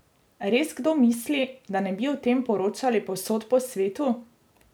Res kdo misli, da ne bi o tem poročali povsod po svetu?